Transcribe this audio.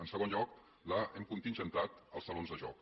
en segon lloc hem contingentat els salons de joc